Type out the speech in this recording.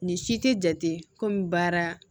Nin si tɛ jate komi baara